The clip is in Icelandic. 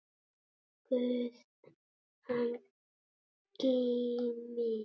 Guð hann geymi.